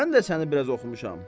Mən də səni biraz oxumuşam.